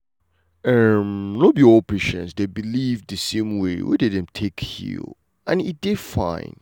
em see no be all patients dey believe the same way wey dem dey take heal and e dey fine.